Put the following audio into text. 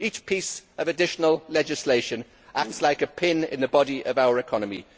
Each piece of additional legislation acts like a pin in the body of our economy.